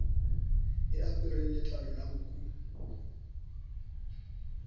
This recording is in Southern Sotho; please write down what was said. e apereng letlalo la nku